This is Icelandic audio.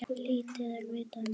Lítið er vitað um málið.